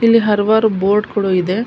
ಇಲ್ಲಿ ಹಲವಾರು ಬೋರ್ಡ್ ಕೂಡ ಇದೆ.